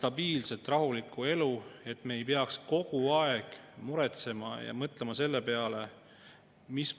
Peab jälle avama seda, et me kõik teame, et ühe normaalse eelnõu menetlemine algab VTK‑st ehk väljatöötamiskavast.